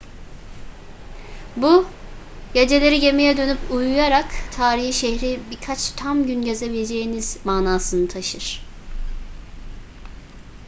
bu geceleri gemiye dönüp uyuyarak tarihi şehri birkaç tam gün gezebileceğiniz manasını taşır